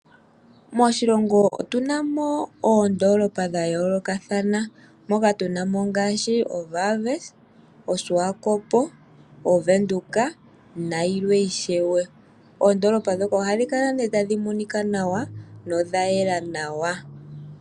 Moshilongo otu na mooondoolopa dha yoolokathana, moka tu na mo, o Wallvis, oSwakopo, .oWindhoekna yilwe ishewe. Oondoolopa ndhoka oha dhi kala ne tadhi monika nawa, no dha yela nawa.